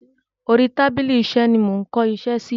Orí tábìlì iṣẹ́ ni mo ń kó iṣẹ́ sí.